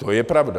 To je pravda.